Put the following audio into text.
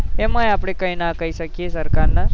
આમા આપડે કઈ ન કઈ શકીએ સરકાર ને